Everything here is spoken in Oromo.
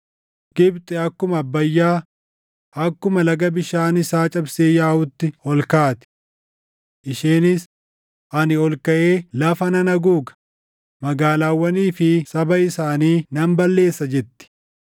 Gibxi akkuma Abbayyaa, akkuma laga bishaan isaa cabsee yaaʼuutti ol kaati. Isheenis, ‘Ani ol kaʼee lafa nan haguuga; magaalaawwanii fi saba isaanii nan balleessa’ jetti.